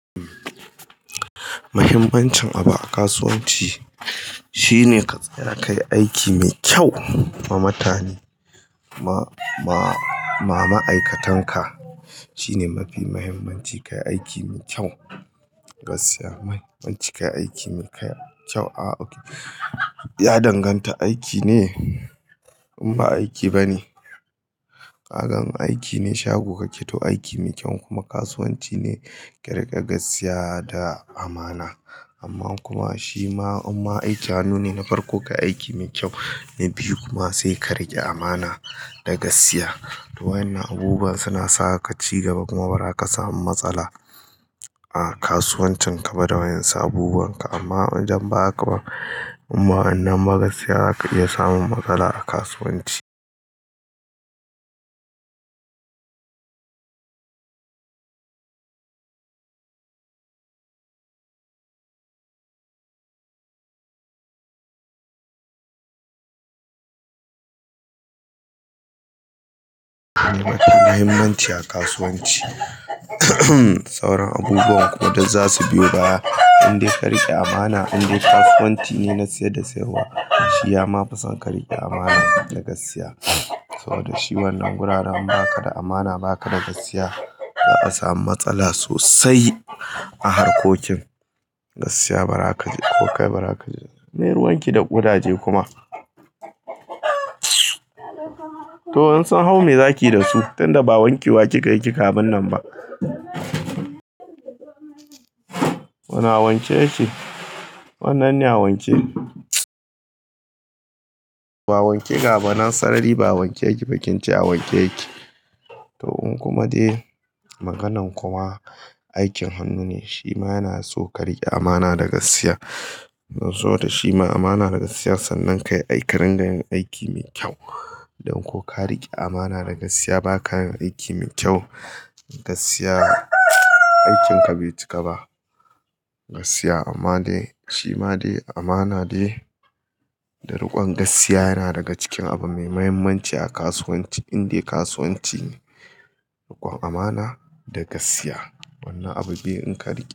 Muhimmancin abu a kasuwanci shine katsaya kai aiki mai kyau ma mutane, ma ma ma ma'aikatanka shine mafi muhimmanci ka yi aiki mai kyau. Gaskiya man, muncika yi aiki mai kyau. To a okay, ya danganta aiki ne in ba aiki ba ne. Kaga in aiki ne shago ka ƙe to aiki mai kyau kuma kasuwanci ne ƙa rike gaskiya da amana. Amma kuma shi ma in ba aiki hannu ne na farko ka aiki mai kyau, na biyu kuma sai ka riƙe amana da gaskiya. To wannan abubuwa suna saka ka ci gaba, kuma bara ka samu matsala a kasuwancin ka ba da wayan su abubuwan ka amma idanba haka ba, imba wannan ba gaskiya za ka iya samun matsala a kasuwanci. Muhimmanci a kasuwanci sauran abubuwan kuma duk za su biyo baya in dai ka riƙe amana, in dai kasuwanci ne na sayar da sayarwa shiya ma fa san ka riƙe amana da gaskiya. Saboda shi wannan wuraren in ba ka da amana ba ka da gaskiya za ka samu matsala sosai a harkokin gaskiya ba za ka je ko kai ba za ka je. Meyi ruwanki da ƙudaje kuma. To insun hau mai zakiyi da su tunda ba wanke wa kika yi kika abinnan ba. Wane a wanke yake? Wannan ne a wanke. Ba wanke gaba nan sarari ba a wanke yake ba kin ce a wanke yake. To in kuma dai maganan kuma aikin hannu ne shi ma yana so ka riƙe amana da gaskiya. Don saboda shi ma amana da gaskiya sannan ka yi aiki ka ringa yin aiki mai kyau. Don ko ka riƙe amana da gaskiya ba ka yin aiki mai kyau, gaskiya aikinka bai cika ba. Gaskiya amma dai shi ma dai amana dai, ɗarukon gaskiya yana daga cikin abu mai muhimmanci a kasuwanci in dai kasuwanci ne rukon amana da gaskiya. Wannan abu biyu in ka riƙe.